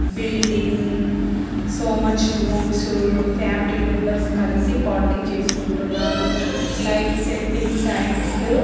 Building so much rooms family members కలిసి party చేసుకుంటున్నారు. Light settings and --